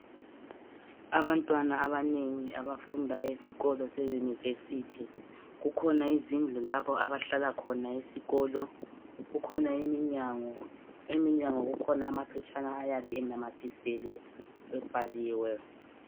Abantwana abanengi abafunda esikolo seyunivesithi, kukhona izindlu lapha abahlala khona esikolo. Kukhona iminyango kuleyi minyango kukhona amaphetshana ayabe enamathiselwe ebhaliwe.